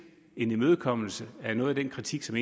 en imødekommelse af noget af den kritik som